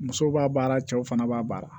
Musow b'a baara cɛw fana b'a baara